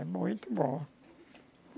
É muito bom.